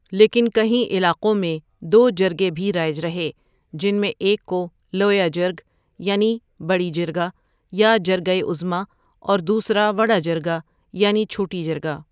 لیکن کہیں علاقوں میں دو جرگے بھی رائج رہی جن میں ایک کو لویہ جرگ یعنی بڑی جرگہ یا جرگۂ عظمٰی اور دوسرا وڑہ جرگہ یعنی چھوٹی جرگہ ۔